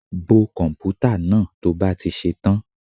Bo komputa náà to bá ti ṣe tán.